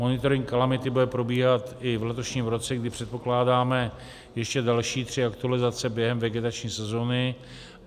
Monitoring kalamity bude probíhat i v letošním roce, kdy předpokládáme ještě další tři aktualizace během vegetační sezóny.